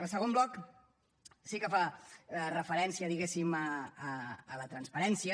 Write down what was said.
el segon bloc sí que fa referència diguéssim a la transparència